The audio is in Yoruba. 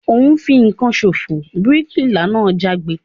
O n fìkan sofo! bíríkìlà náà jágbe